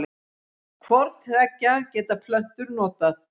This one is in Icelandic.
Hvort tveggja geta plöntur notað.